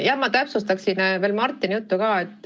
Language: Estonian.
Ma täpsustaksin Martini juttu.